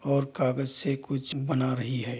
और कागज से कुछ बना रही है।